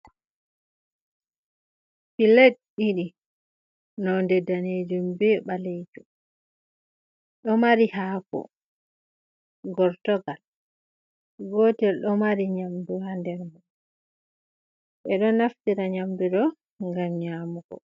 Piled ɗiɗi nonde daneejum be ɓaleejum, ɗo mari haako gortogal, gootel ɗo mari nyamdu haa nder man, ɓe ɗo naftira nyamdu ɗo, ngam nyaamugo.